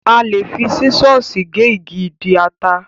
A lè fi sísọ̀sì gé igi ìdí ata.